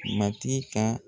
Matigi kan.